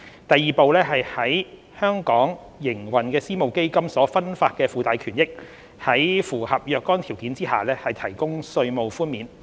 第二步是為在本港營運的私募基金所分發的附帶權益，在符合若干條件下提供稅務寬免。